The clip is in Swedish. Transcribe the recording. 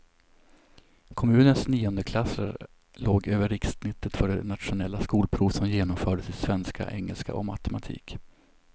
Kommunens niondeklassare låg över rikssnittet för det nationella skolprov som genomfördes i svenska, engelska och matematik.